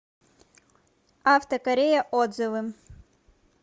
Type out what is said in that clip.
авто корея отзывы